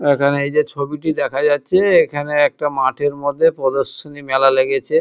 এখানে এই যে ছবিটি দেখা যাচ্ছে এখানে একটা মাঠের মধ্যে প্রদর্শনী মেলা লেগেছে।